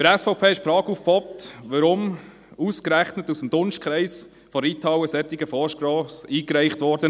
Bei der SVP poppte die Frage auf, weshalb ausgerechnet aus dem Dunstkreis der Reithalle ein solcher Vorstoss eingereicht wurde.